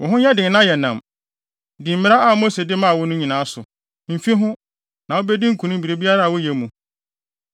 “Wo ho nyɛ den na yɛ nnam. Di mmara a Mose de maa wo no nyinaa so. Mfi ho, na wubedi nkonim biribiara a woyɛ mu.